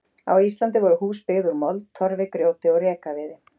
Á Íslandi voru hús byggð úr mold, torfi, grjóti og rekaviði.